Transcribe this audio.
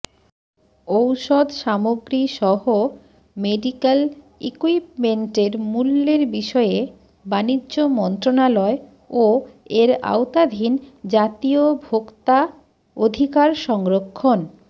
ঔষধ সামগ্রীসহ মেডিকেল ইকুইপমেন্টের মূল্যের বিষয়ে বাণিজ্য মন্ত্রণালয় ও এর আওতাধীন জাতীয় ভোক্তা অধিকার সংরক্ষণ